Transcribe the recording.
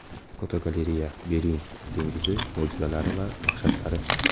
Fotogalereya: Bering dengizi mo‘jizalari va dahshatlari.